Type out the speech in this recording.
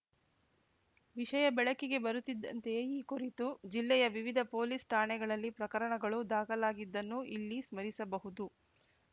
ವಿಷಯ ಬೆಳಕಿಗೆ ಬರುತ್ತಿದ್ದಂತೆಯೇ ಈ ಕುರಿತು ಜಿಲ್ಲೆಯ ವಿವಿಧ ಪೊಲೀಸ್ ಠಾಣೆಗಳಲ್ಲಿ ಪ್ರಕರಣಗಳೂ ದಾಖಲಾಗಿದ್ದನ್ನು ಇಲ್ಲಿ ಸ್ಮರಿಸಬಹುದು